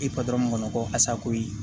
I patɔrɔn mɔn ko asakoyi